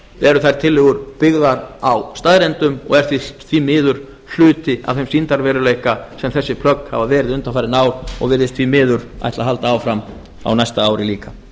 eru þær tillögur byggðar á staðreyndum og er því miður hluti af þeim sýndarveruleika sem þessi plögg hafa verið undanfarin ár og virðist því miður ætla að halda áfram á næsta ári líka